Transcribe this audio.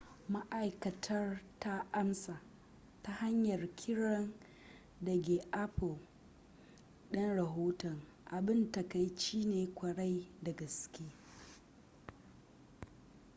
ma'aikatar ta amsa ta hanyar kiran dage apple din rahoton abin takaici ne kwarai da gaske